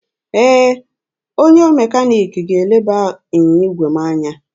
Ee, onye mekaniki ga-eleba ịnyịnya igwe m anya.